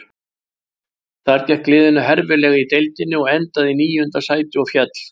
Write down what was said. Þar gekk liðinu herfilega í deildinni og endaði í níunda sæti og féll.